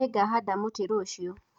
Nĩngahanda mũtĩ rũciũ